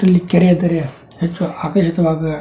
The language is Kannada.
ಇದರಲ್ಲಿ ಕೆರೆ ಆದರೆ ಹೆಚ್ಚು ಆಕರ್ಷಿತವಾಗುವ --